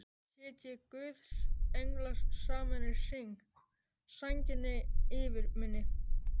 Sitji guðs englar saman í hring, sænginni yfir minni.